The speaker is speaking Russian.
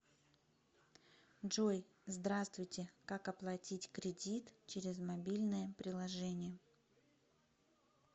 джой здравствуйте как оплатить кредит через мобильное приложение